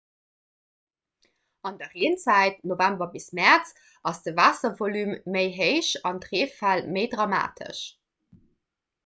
an der reenzäit november bis mäerz ass de waasservolume méi héich an d'reefäll méi dramatesch